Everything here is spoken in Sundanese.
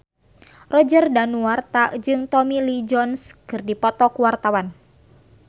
Roger Danuarta jeung Tommy Lee Jones keur dipoto ku wartawan